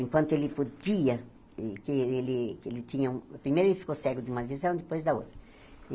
Enquanto ele podia... Porque ele ele tinha um primeiro ele ficou cego de uma visão, depois da outra.